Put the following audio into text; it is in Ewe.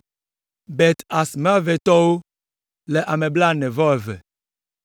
Bet Azmavetɔwo le ame blaene-vɔ-eve (42).